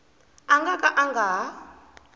nga ka a nga ha